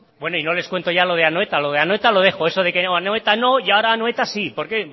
bueno y no les cuento ya lo de anoeta lo de anoeta lo dejo eso de que anoeta no y ahora anoeta sí por qué